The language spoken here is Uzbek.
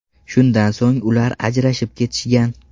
Shundan so‘ng ular ajrashib ketishgan.